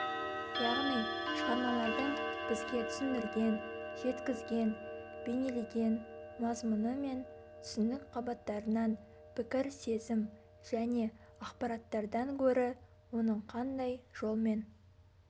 яғни шығармалардың бізге түсіндірген жеткізген бейнелеген мазмұны мен түсінік қабаттарынан пікір сезім және ақпараттардан гөрі оның қандай жолмен